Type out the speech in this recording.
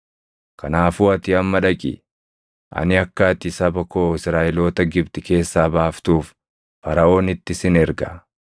Kanaafuu ati amma dhaqi. Ani akka ati saba koo Israaʼeloota Gibxi keessaa baaftuuf Faraʼoonitti sin erga.”